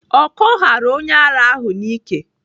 Ọkọ ghara onye ara ahụ n'ike.